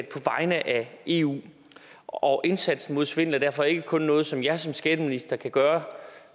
på vegne af eu og indsatsen mod svindel er derfor ikke kun noget som jeg som skatteminister kan gøre